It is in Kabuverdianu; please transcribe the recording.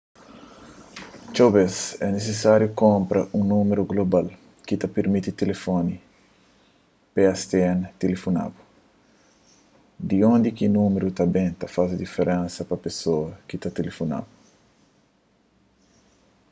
txeu bez é nisisáriu kunpra un númeru global ki ta pirmiti tilifoni pstn tilifona-bu di undi ki númeru ta ben ta faze diferensa pa pesoas ki ta tilifona-bu